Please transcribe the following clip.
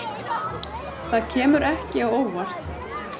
Það kemur ekki á óvart.